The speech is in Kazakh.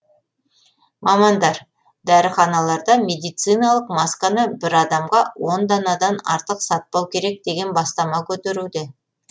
мамандар дәріханаларда медициналық масканы бір адамға он данадан артық сатпау керек деген бастама көтеруде